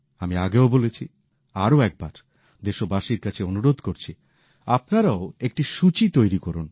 আমি আগেও বলেছি আরো একবার দেশবাসীর কাছে অনুরোধ করছি আপনারাও একটি সূচি তৈরি করুন